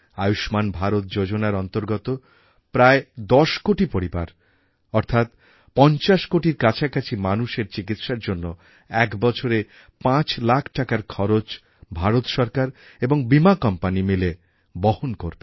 আয়ুষ্মান ভারত যোজনার অন্তর্গত প্রায় ১০ কোটি পরিবার অর্থাৎ ৫০ কোটির কাছাকাছি মানুষের চিকিৎসার জন্য এক বছরে ৫ লাখ টাকার খরচ ভারত সরকার এবং বীমা কোম্পানি মিলে বহন করবে